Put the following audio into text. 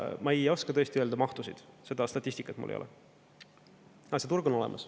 Ma ei oska tõesti öelda mahtusid, seda statistikat mul ei ole, aga see turg on olemas.